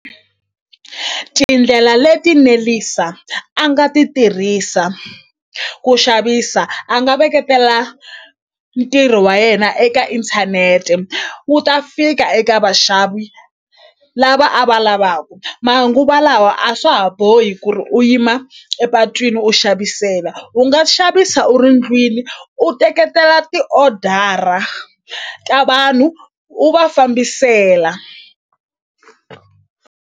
Tindlela leti Nelisa a nga ti tirhisa ku xavisa a nga veketela ntirho wa yena eka inthanete wu ta fika eka vaxavi lava a va lavaku manguva lawa a swa ha bohi ku ri u yima epatwini u xavisela u nga xavisa u ri ndlwini u teketela ti-order-a ka vanhu u va fambisela.